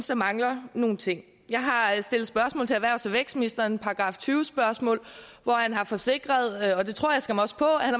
der mangler nogle ting jeg har stillet spørgsmål til erhvervs og vækstministeren § tyve spørgsmål hvor han har forsikret og det tror jeg skam også på at han